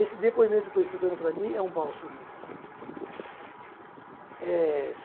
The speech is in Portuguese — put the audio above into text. Esse depoimento que eu estou dando para mim é um bálsamo. É